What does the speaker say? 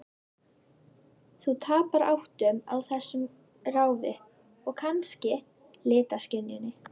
Þú tapar áttum á þessu ráfi, og kannski litaskynjun.